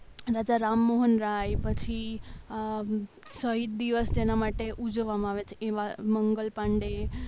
રાજારામ મોહન રાય પછી શહીદ દિવસ એના માટે ઉજવવામાં આવે છે એવા મંગલ પાંડે.